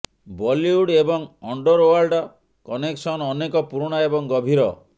ବଲିଉଡ୍ ଏବଂ underworld connection ଅନେକ ପୁରୁଣା ଏବଂ ଗଭୀର